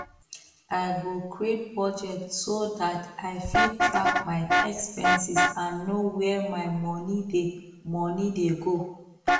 i go create budge so dat i fit track my expenses and know where my monie dey monie dey go